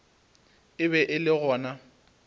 e be e le gona